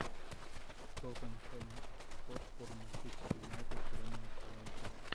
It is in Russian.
тоттенхэм хотспур манчестер юнайтед время начала игры